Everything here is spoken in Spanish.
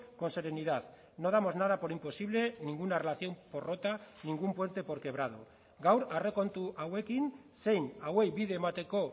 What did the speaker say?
con serenidad no damos nada por imposible ninguna relación por rota ningún puente por quebrado gaur aurrekontu hauekin zein hauei bide emateko